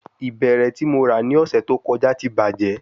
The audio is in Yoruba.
Ibẹrẹ ti Mo ra ni ọsẹ to kọja ti bajẹ